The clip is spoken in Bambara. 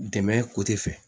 Dɛmɛ fɛ